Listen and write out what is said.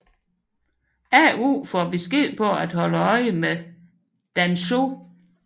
Ao får besked på at holde øje med Danzō